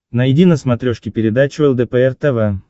найди на смотрешке передачу лдпр тв